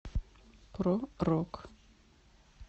про рок